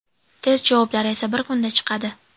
Test javoblari esa bir kunda chiqadi.